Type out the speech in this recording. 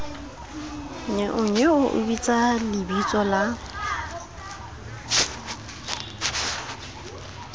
nnyeonyeo o bitsa lebitso la